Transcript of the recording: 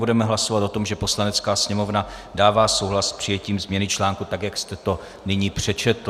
Budeme hlasovat o tom, že Poslanecká sněmovna dává souhlas s přijetím změny článku, tak jak jste to nyní přečetl.